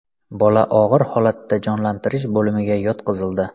Bola og‘ir holatda jonlantirish bo‘limiga yotqizildi.